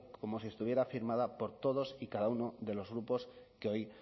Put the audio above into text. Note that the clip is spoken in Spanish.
como si estuviera firmada por todos y cada uno de los grupos que hoy